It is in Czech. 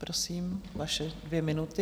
Prosím, vaše dvě minuty.